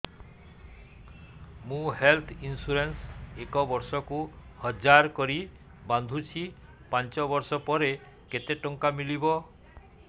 ମୁ health insurance ଏକ ବର୍ଷକୁ ହଜାର କରି ବାନ୍ଧୁଛି ପାଞ୍ଚ ବର୍ଷ ପରେ କେତେ ଟଙ୍କା ମିଳିବ